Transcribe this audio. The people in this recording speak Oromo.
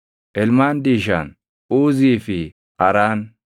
Ilmaan Diishaan: Uuzii fi Araan.